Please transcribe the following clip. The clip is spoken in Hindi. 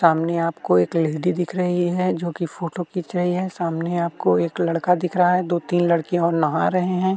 सामने आपको एक लेडी दिख रही है जो की फोटो खींच रही है सामने आपको एक लड़का दिख रहा है दो-तीन लड़के और नहा रहे हैं।